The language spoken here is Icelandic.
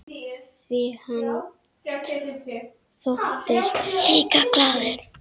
Því hann þóttist líka glaður.